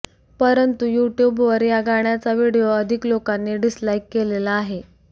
परंतू युट्युबवर या गाण्याचा व्हिडिओ अधिक लोकांनी डिसलाईक केलेला आहे